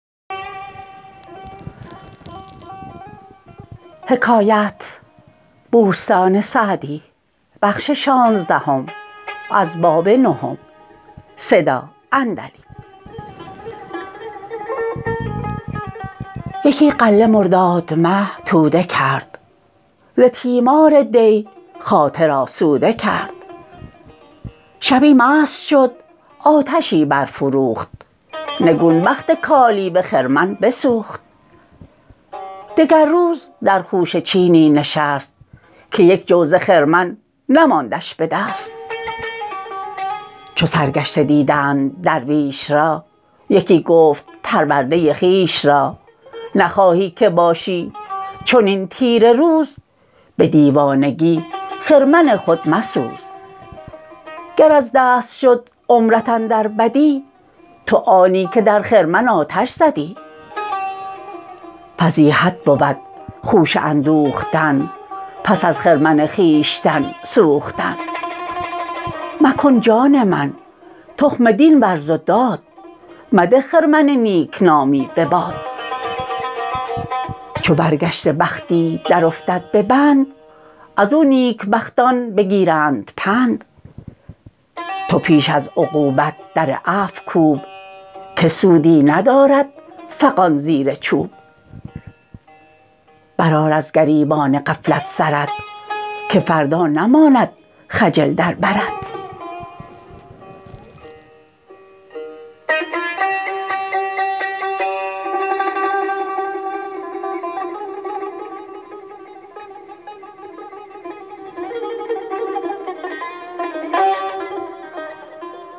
یکی غله مرداد مه توده کرد ز تیمار دی خاطر آسوده کرد شبی مست شد و آتشی برفروخت نگون بخت کالیوه خرمن بسوخت دگر روز در خوشه چینی نشست که یک جو ز خرمن نماندش به دست چو سرگشته دیدند درویش را یکی گفت پرورده خویش را نخواهی که باشی چنین تیره روز به دیوانگی خرمن خود مسوز گر از دست شد عمرت اندر بدی تو آنی که در خرمن آتش زدی فضیحت بود خوشه اندوختن پس از خرمن خویشتن سوختن مکن جان من تخم دین ورز و داد مده خرمن نیکنامی به باد چو برگشته بختی در افتد به بند از او نیک بختان بگیرند پند تو پیش از عقوبت در عفو کوب که سودی ندارد فغان زیر چوب بر آر از گریبان غفلت سرت که فردا نماند خجل در برت